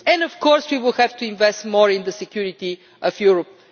Of course, we will have to invest more in the security of Europe.